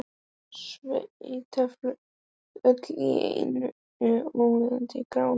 Sveitin flaut öll í einhverju ókennilegu gráu flosi.